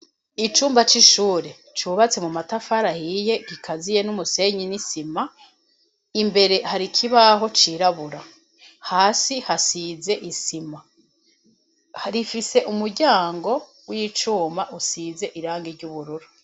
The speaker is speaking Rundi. Icumba c'ishure cubatse mu matafari ahiye gikaziye n'umusenyi n'isima, imbere hari ikibaho cirabura. Hasi hasize isima. Rifise umuryango w'icuma usize irangi ry'ubururu.